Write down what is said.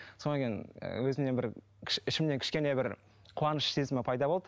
сонан кейін ы өзімнен бір ішімнен кішкене бір қуаныш сезімі пайда болды